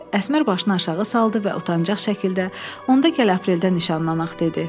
Əsmər başını aşağı saldı və utancaq şəkildə onda gəl apreldə nişanlanaq dedi.